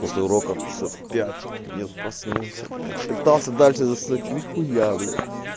после уроков часов в пять нет проснулся блять пытался дальше заснуть нихуя блять